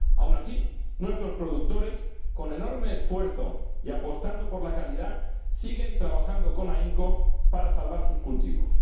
Aun así, nuestros productores, con enorme esfuerzo y apostando por la calidad, siguen trabajando con ahínco para salvar sus cultivos.